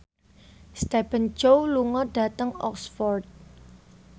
Stephen Chow lunga dhateng Oxford